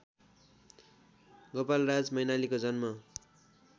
गोपालराज मैनालीको जन्म